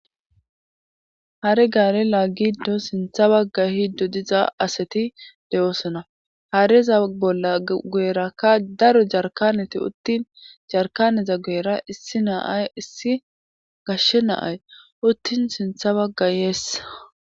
hare gaare laagiddo sintha bagay ehiddo diza asati de'oosona hareza bolla guerakka daro jarkaneti uttin jarkaneza guyera issi na'ay issi gashshe na'ay uttin sintha baga yeesa